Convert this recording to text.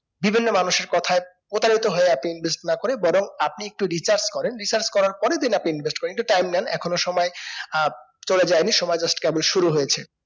বিভিন্ন মানুষের কোথায় প্রতারিত হয়ে আপনি না করে বরং আপনি একটু recharge করেন research করার পরে then আপনি invest করেন একটু time নেন এখনো সময় আহ চলে যাইনি সময় just কেবলি শুরু হয়েছে